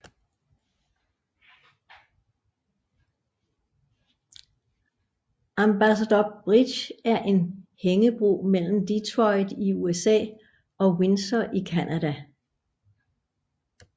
Ambassador Bridge er en hængebro mellem Detroit i USA og Windsor i Canada